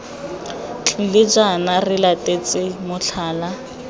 tlile jaana re latetse motlhala